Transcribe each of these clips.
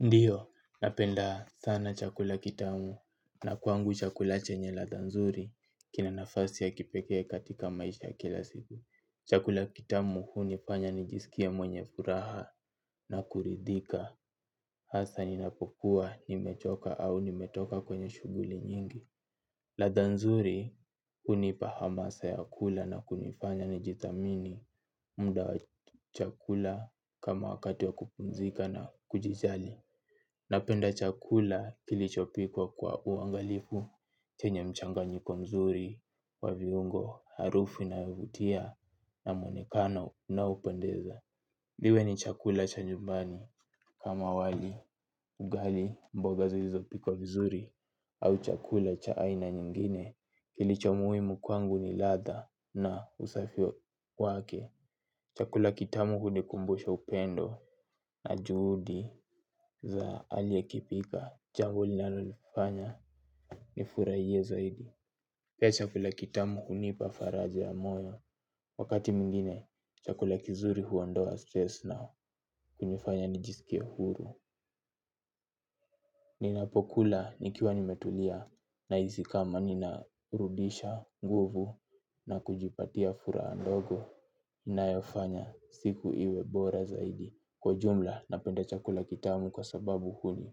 Ndiyo, napenda sana chakula kitamu na kwangu chakula chenye ladha nzuri kina nafasi ya kipekee katika maisha ya kila siku. Chakula kitamu hunifanya nijisikie mwenye furaha na kuridhika hasa ninapokuwa, nimechoka au nimetoka kwenye shughuli nyingi. Ladha nzuri hunipa hamasa ya kula na kunifanya nijithamini mda wa chakula kama wakati wa kupumzika na kujijali. Napenda chakula kilichopikwa kwa uangalifu, chenye mchanganyiko mzuri, wa viungo, harufu inayovutia, na mwonekano unaupendeza. Liwe ni chakula cha nyumbani kama wali, ugali, mboga zilizopikwa vizuri, au chakula cha aina nyingine. Kilicho muhimu kwangu ni ladha na usafio wake. Chakula kitamu hunikumbusha upendo na juhudi za aliekipika. Jambo linalonifanya nifuraie zaidi. Pia chakula kitamu hunipa faraja ya moyo. Wakati mwingine, chakula kizuri huondoa stress nao. Kunifanya nijisikie huru. Ninapokula nikiwa nimetulia naizi kama ninarudisha nguvu na kujipatia furaha ndogo. Inayofanya siku iwe bora zaidi. Kwa ujumla napenda chakula kitamu kwa sababu huni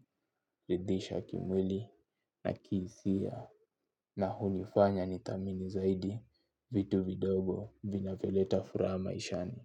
ridhisha kimwili na kiisia. Na hunifanya nithamini zaidi. Vitu vidogo vinavyoleta furaha maishani.